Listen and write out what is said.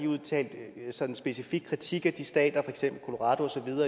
udtalt sådan en specifik kritik af de stater